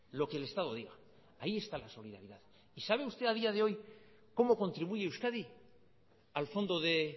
lo que el estado diga ahí está la solidaridad y sabe usted a día de hoy cómo contribuye euskadi al fondo de